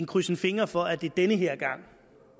krydser fingre for at det den her gang